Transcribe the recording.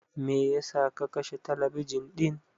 Me yasa ka kashe talabijin ɗin?